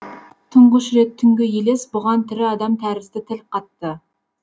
тұңғыш рет түнгі елес бұған тірі адам тәрізді тіл қатты